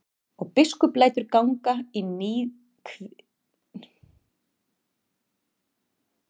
Og biskup lætur ganga í níðkviðlingum um þann góða biskup Martein.